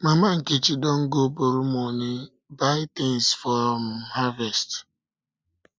mama nkechi don go borrow money buy things for um harvest